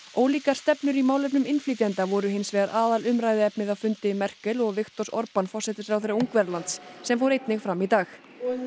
ólíkar stefnur í málefnum innflytjenda voru hins vegar aðalumræðuefnið á fundi Merkel og Viktors forsætisráðherra Ungverjalands sem fór einnig fram í dag